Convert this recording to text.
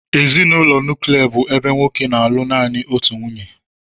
Ezinụlọ nuklia bụ ebe nwoke na-alụ naanị otu nwunye